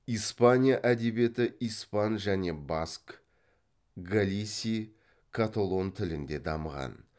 испания әдебиеті испан және баск галисий каталон тілінде дамыған